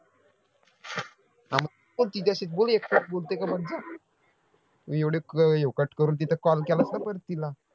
हा मग बोल तिच्याशीच बोल एक तास बोलते का बघ जा एवढ ह्यो cut करून तिथं call केलास ना परत तिला